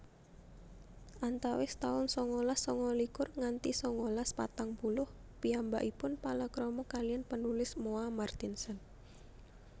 Antawis taun sangalas sangalikur nganti sangalas patang puluh piyambakipun palakrama kaliyan penulis Moa Martinson